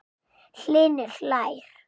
Hlynur hlær.